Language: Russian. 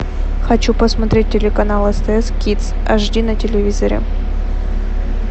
хочу посмотреть телеканал стс кидс ашди на телевизоре